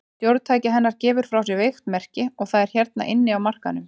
Stjórntæki hennar gefur frá sér veikt merki, og það er hérna inni á markaðnum.